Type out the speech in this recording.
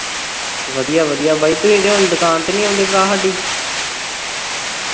ਵਧੀਆ ਵਧੀਆ ਬਾਈ ਤੂਹੀ ਤੇ ਹੁਣ ਦੁਕਾਨ ਤੇ ਨੀ ਆਉਂਦੇ ਭਰਾ ਹਾਡੀ